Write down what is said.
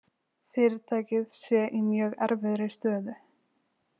Fyrirtækið sé í mjög erfiðri stöðu